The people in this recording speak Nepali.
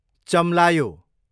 चम्लायो